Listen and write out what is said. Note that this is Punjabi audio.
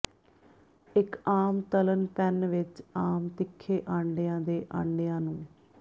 ਇੱਕ ਆਮ ਤਲ਼ਣ ਪੈਨ ਵਿਚ ਆਮ ਤਿੱਖੇ ਆਂਡਿਆਂ ਦੇ ਆਂਡਿਆਂ ਨੂੰ